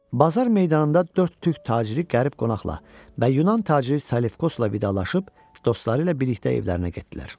Bazar meydanında dörd türk taciri qərib qonaqla və yunan taciri Salefkosla vidalaşıb dostları ilə birlikdə evlərinə getdilər.